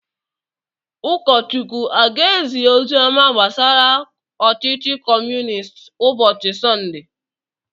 Ụkọchukwu a ga-ezi ozi ọma gbasara ọchịchị Kọmunistị ụbọchị Sọnde?